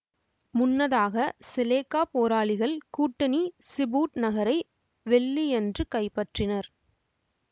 முன்னதாக செலேக்கா போராளிகள் கூட்டணி சிபூட் நகரை வெள்ளியன்று கைப்பற்றினர்